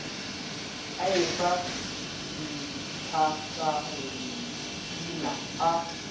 a e fa ntlatalna a